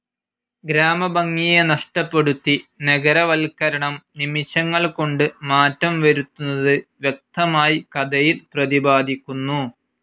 ഗ്രാമഭംഗിയെ നഷ്ടപ്പെടുത്തി നഗരവൽകരണം നിമിഷങ്ങൾ കൊണ്ട് മാറ്റം വരുത്തുന്നത് വ്യക്തമായി കഥയിൽ പ്രതിപാദിക്കുന്നു.